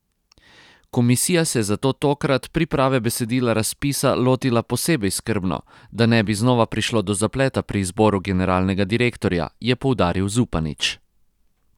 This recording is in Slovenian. Komisija se je zato tokrat priprave besedila razpisa lotila posebej skrbno, da ne bi znova prišlo do zapleta pri izboru generalnega direktorja, je poudaril Zupanič.